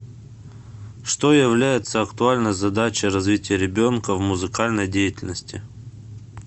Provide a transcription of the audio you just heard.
что является актуальной задачей развития ребенка в музыкальной деятельности